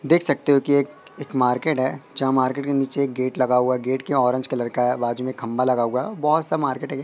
देख सकते हो कि एक मार्केट है जहां मार्केट के नीचे ये गेट लगा हुआ गेट क्यों ऑरेंज कलर का है बाजू में खंभा लगा हुआ बहोत सा मार्केट --